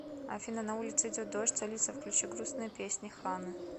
афина на улице идет дождь алиса включи грустные песни ханы